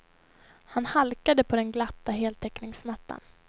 Han halkade på den glatta heltäckningsmattan.